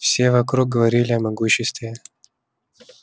все вокруг говорили о могуществе